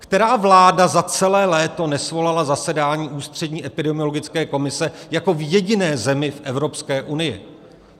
Která vláda za celé léto nesvolala zasedání Ústřední epidemiologické komise jako v jediné zemi v Evropské unii?